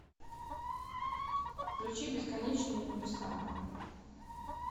включи бесконечные небеса